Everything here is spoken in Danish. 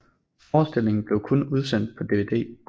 Forestillingen er blevet udsendt på DVD